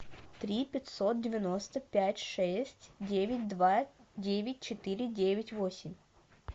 три пятьсот девяносто пять шесть девять два девять четыре девять восемь